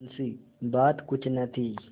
मुंशीबात कुछ न थी